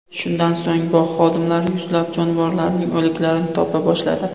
Shundan so‘ng bog‘ xodimlari yuzlab jonivorlarning o‘liklarini topa boshladi.